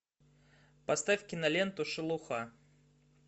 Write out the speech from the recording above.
поставь киноленту шелуха